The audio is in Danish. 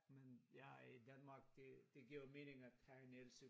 Men jeg er i Danmark det det giver jo mening at have en elcykel